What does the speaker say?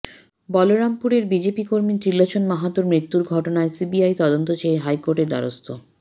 বলরামপুরের BJP কর্মী ত্রিলোচন মাহাতোর মৃত্যুর ঘটনায় সিবিআই তদন্ত চেয়ে হাইকোর্টের দ্বারস্থ